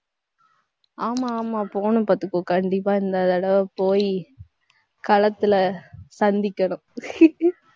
ஆமா, ஆமா போணும் பாத்துக்கோ கண்டிப்பா இந்த தடவ போயி களத்துல சந்திக்கணும்